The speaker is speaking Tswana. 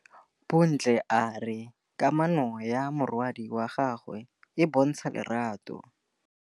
Bontle a re kamanô ya morwadi wa gagwe le Thato e bontsha lerato.